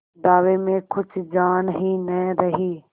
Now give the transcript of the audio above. दावे में कुछ जान ही न रही